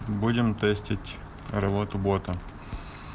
будем тестить работу бота